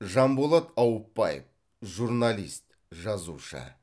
жанболат ауыпбаев журналист жазушы